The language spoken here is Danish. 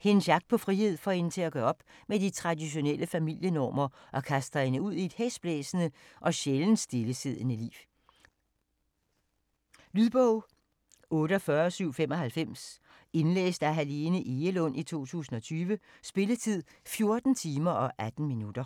Hendes jagt på frihed får hende til at gøre op med de traditionelle familienormer, og kaster hende ud i et hæsblæsende og sjældent stillesiddende liv. Lydbog 48795 Indlæst af Helene Egelund, 2020. Spilletid: 14 timer, 18 minutter.